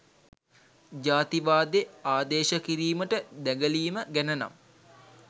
ජාතිවාදෙ ආදේශ කිරීමට දැගලීම ගැනනම්